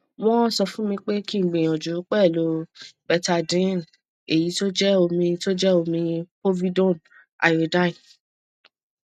won sofunmi pe ki gbiyanju pelu betadine eyi to je omi to je omi povidone iodine